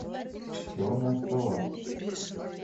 черная скала